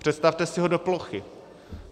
Představte si ho do plochy.